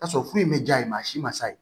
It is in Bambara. Tasɔrɔ foyi ma jaa yen maa si ma sa